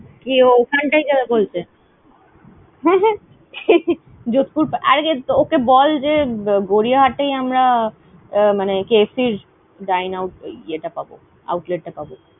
কি ও ওখানটায় যাবে বলছে? যোধপুর আরে ওকে বল, যে গড়িয়াহাটেই আমরা আহ মানে KFC এর Dineout ইয়ে টা পাব outlet টা পাবো।